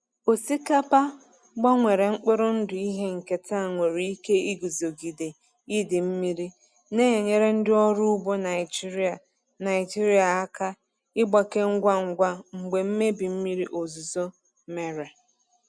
Osikapa gbanwere mkpụrụ ndụ ihe nketa nwere ike iguzogide idei mmiri, na-enyere ndị ọrụ ugbo Naijiria Naijiria aka ịgbake ngwa ngwa mgbe mmebi mmiri ozuzo mere.